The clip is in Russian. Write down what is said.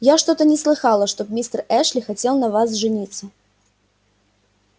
я что-то не слыхала чтоб мистер эшли хотел на вас жениться